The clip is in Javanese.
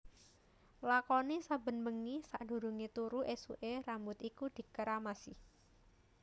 Lakoni saben bengi sadurungé turu esuké rambut iku dikeramasi